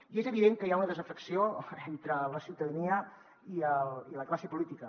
i és evident que hi ha una desafecció entre la ciutadania i la classe política